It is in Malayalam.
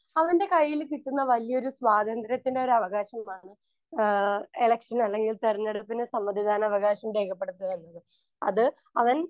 സ്പീക്കർ 1 അവൻ്റെ കയ്യില് കിട്ടുന്ന വല്ല്യ ഒരു സ്വാതന്ത്ര്യത്തിൻ്റെ ഒരുവകാശം കാണും ആഹ് ഇലക്ഷന് അല്ലെങ്കിൽ തിരഞ്ഞെടുപ്പിന് സമ്മതിദാനവകാശം രേഖപ്പെടുത്തുന്നതിന്. അത് അവൻ